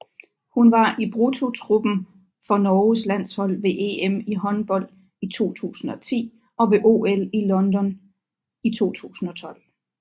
Hun var i bruttotruppen for Norges landshold ved EM i håndbold 2010 og ved OL i London i 2012